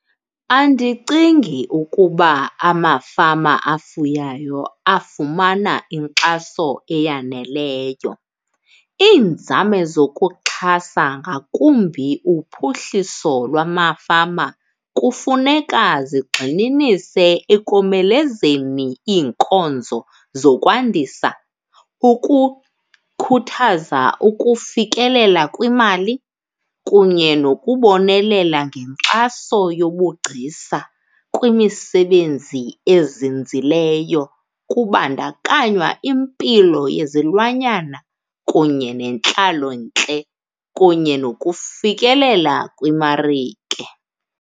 Andicingi ukuba amafama afuyayo afumana inkxaso eyaneleyo. Iinzame zokuxhasa ngakumbi uphuhliso lwamafama kufuneka zigxininise ekomelezeni iinkonzo zokwandisa, ukukhuthaza ukufikelela kwimali kunye nokubonelela ngenkxaso yobugcisa kwimisebenzi ezinzileyo. Kubandakanywa impilo yezilwanyana kunye nentlalontle kunye nokufikelela kwimarike.